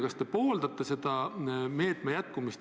Kas te toetate selle meetme jätkumist?